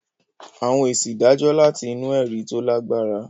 Àwọn èsì ìdájọ́ láti inú ẹ̀rí tó lágbára.